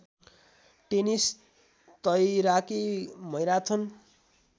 tennis तैराकी marathon